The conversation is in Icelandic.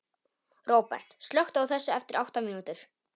Róbert, slökktu á þessu eftir átta mínútur.